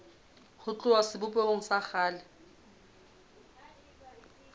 ho tloha sebopehong sa kgale